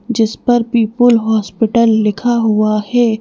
जिस पर people hospital लिखा हुआ है।